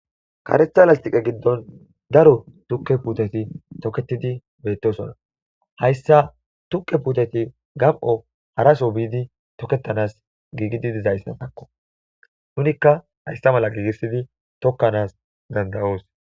Karetha lastiqe giddon daro tukke puuteti toketidi beettosona hayssa tukke puuteti gam'o haraso biidi toketanas giigidi dizayssa takko nunikka hayssa mala giigissidi tokkanas danda'oos.